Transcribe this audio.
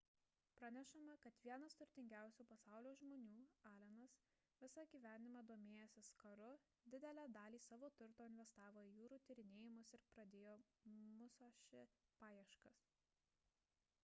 pranešama kad vienas turtingiausių pasaulio žmonių p allenas visą gyvenimą domėjęsis karu didelę dalį savo turto investavo į jūrų tyrinėjimus ir pradėjo musashi paieškas